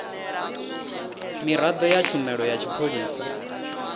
miraḓo ya tshumelo ya tshipholisa